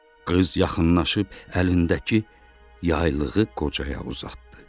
Qız yaxınlaşıb əlindəki yaylığı qocaya uzatdı.